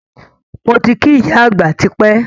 Moti kí ìyá àgbà tipẹ́